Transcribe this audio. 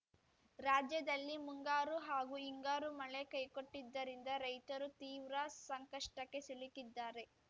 ರಾಜ್ಯದಲ್ಲಿ ಮುಂಗಾರು ಹಾಗೂ ಹಿಂಗಾರು ಮಳೆ ಕೈಕೊಟ್ಟಿದ್ದರಿಂದ ರೈತರು ತೀವ್ರ ಸಂಕಷ್ಟಕ್ಕೆ ಸಿಲುಕಿದ್ದಾರೆ